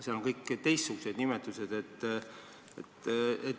Mujal on kõik teistsugused nimetused.